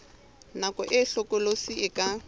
nako e hlokolosi e ka